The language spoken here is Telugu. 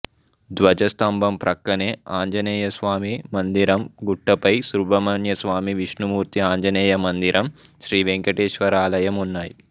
ధ్వజ స్తంభం ప్రక్కనే ఆంజనేయ స్వామి మందిరం గుట్టపై సుబ్రమణ్యస్వామి విష్ణుమూర్తి ఆంజనేయ మందిరం శ్రీవేంకటేశ్వరాలయం ఉన్నాయి